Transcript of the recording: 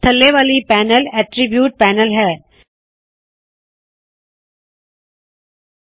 ਥੱਲੇ ਵਾਲੀ panel attributes attributes panel ਹੈ